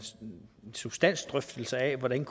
substansdrøftelse af hvordan